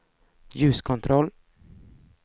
ljuskontroll